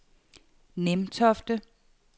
Nimtofte